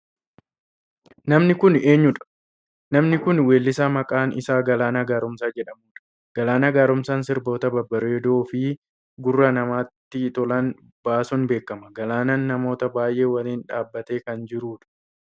Namni kun eenyudha? Namni kun weellisaa maqaan isaa Galaanaa Gaaromsaa jedhamu dha. Galaaanaa Gaaromsaa sirbota babbareedoo fi gurra namaatti tolan baasuun beekama. Galaanaan namoota baayyee waliin dhaabbatee kan jiru dha.